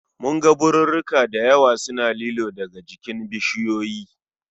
Mun ga birirrika dayawa suna lilo daga jikin bishiyoyi